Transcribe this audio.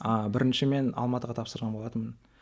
а бірінші мен алматыға тапсырған болатынмын